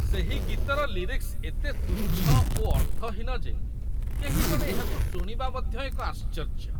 ସେହି ଗୀତର ଲିରିକ୍ସ ଏତେ ତୁଚ୍ଛ ଓ ଅର୍ଥହୀନ ଯେ କେହିଜଣେ ଏହାକୁ ଶୁଣିବା ମଧ୍ୟ ଏକ ଆଶ୍ଚର୍ଯ୍ୟ